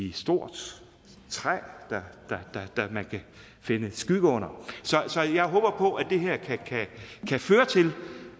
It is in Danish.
et stort træ man kan finde skygge under så jeg håber på at det her kan føre til